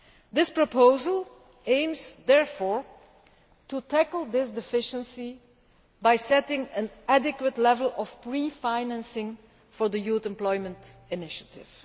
This proposal aims, therefore, to tackle this deficiency by setting an adequate level of pre financing for the Youth Employment Initiative.